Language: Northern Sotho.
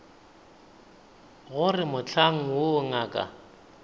go re mohlang woo ngaka